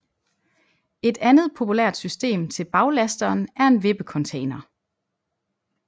Et andet populært system til baglasteren er en vippecontainer